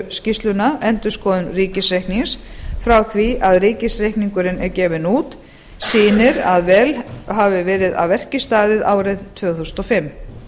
skýrsluna endurskoðun ríkisreiknings frá því að ríkisreikningurinn er gefinn út sýnir að vel hafi verið að verki staðið árið tvö þúsund og fimm